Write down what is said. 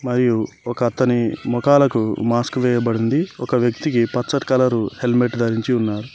మరియు ఒకతని మొఖాలకు మాస్క్ వేయబడి ఉంది ఒక వ్యక్తికి పచ్చటి కలర్ హెల్మెట్ ధరించి ఉన్నారు.